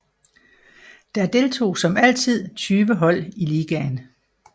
Der deltog som altid 20 hold i ligaen